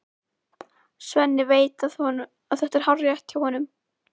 Svenni veit að þetta er hárrétt hjá honum.